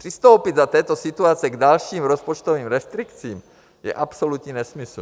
Přistoupit za této situace k dalším rozpočtovým restrikcím je absolutní nesmysl.